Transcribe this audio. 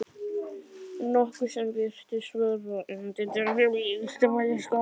nokkuð sem virtist vera undantekning í Austurbæjarskóla.